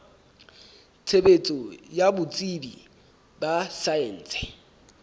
tshebetso ya botsebi ba saense